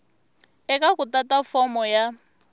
eka ku tata fomo ya